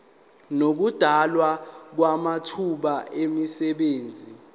nokudalwa kwamathuba emisebenzi